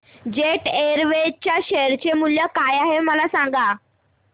jet Airways च्या share चे मूल्य काय आहे मला सांगा